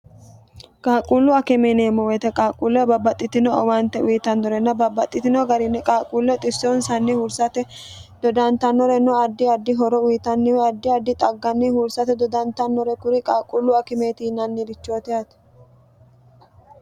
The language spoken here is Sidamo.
qaaqquullu akime yineemmo woyite qaaqquulle babbaxxitino owante uyitannorenno babbaxxitino garinni qaaqquulle xissonsanni hursate dodantannorenno addi addi horo uyitanniwe addi addi xagganni hursate dodantannore kuri qaaqquullu akimeeti yinannirichoot yaate